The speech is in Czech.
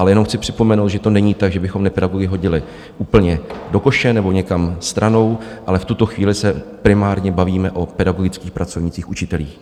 Ale jenom chci připomenout, že to není tak, že bychom nepedagogy hodili úplně do koše nebo někam stranou, ale v tuto chvíli se primárně bavíme o pedagogických pracovnících, učitelích.